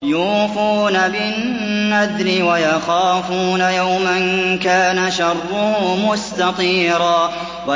يُوفُونَ بِالنَّذْرِ وَيَخَافُونَ يَوْمًا كَانَ شَرُّهُ مُسْتَطِيرًا